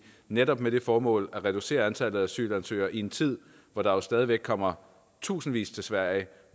netop med det formål at reducere antallet af asylansøgere i en tid hvor der jo stadig væk kommer tusindvis til sverige